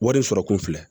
Wari sɔrɔ kun filɛ